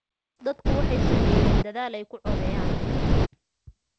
Dadku waxay sameeyeen dadaal ay ku codeeyaan.